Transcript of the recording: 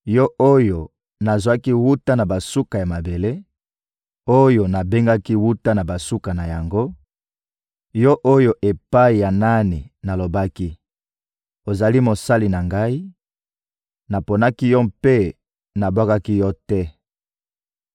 yo oyo nazwaki wuta na basuka ya mabele, oyo nabengaki wuta na basuka na yango, yo oyo epai ya nani nalobaki: ‹Ozali mosali na Ngai,› naponaki yo mpe nabwakaki yo te.